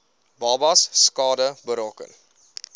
babas skade berokken